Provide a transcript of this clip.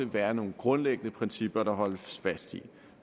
være nogle grundlæggende principper der holdes fast i